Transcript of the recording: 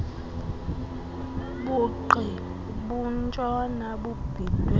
bugqi bentshona bubhidwe